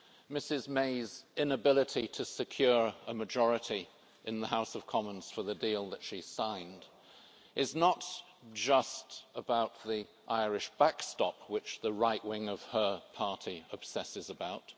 Ms May's inability to secure a majority in the House of Commons for the deal that she signed is not just about the Irish backstop, which the right wing of her party obsesses about